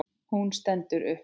Hún stendur upp.